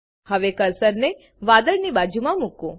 હવે કર્સરને વાદળની બાજુમાં મૂકો